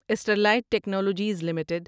Sterlite Technologies limited